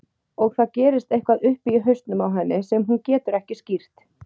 Og það gerist eitthvað uppi í hausnum á henni sem hún getur ekki skýrt.